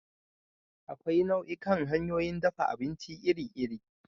Akwai nau'ikan hanyoyin dafa abinci iri-iri.